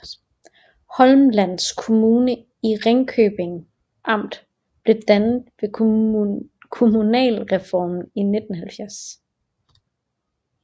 Holmsland Kommune i Ringkøbing Amt blev dannet ved kommunalreformen i 1970